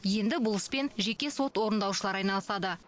енді бұл іспен жеке сот орындаушылары айналысады